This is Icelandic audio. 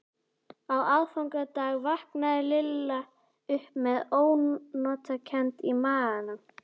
Á aðfangadag vaknaði Lilla upp með ónotakennd í maganum.